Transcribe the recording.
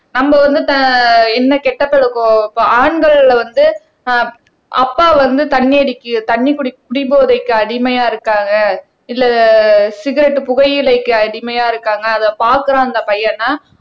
நம்ம வந்து த என்ன கெட்ட பழக்கம் ஆண்கள் வந்து அஹ் அப்பா வந்து தண்ணி அடிக்க தண்ணி குடி குடிபோதைக்கு அடிமையா இருக்காங்க இல்ல சிகெரெட் புகையிலைக்கு அடிமையா இருக்காங்க அதை பாக்குறான் அந்த பையன்னா